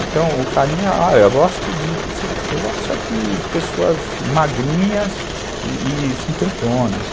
Então o carinha, ah, eu gosto só de pessoas magrinhas e e cinquentonas.